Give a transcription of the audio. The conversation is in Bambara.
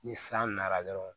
Ni san nana dɔrɔn